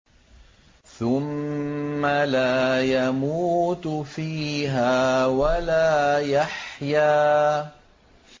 ثُمَّ لَا يَمُوتُ فِيهَا وَلَا يَحْيَىٰ